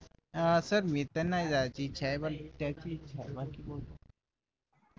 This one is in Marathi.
अह सर मी तर नाही जायची इच्छा त्याची इच्छा बाकी